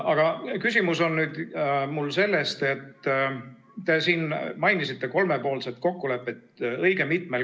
Aga küsimus on mul selle kohta, et te mainisite siin õige mitmel korral kolmepoolset kokkulepet.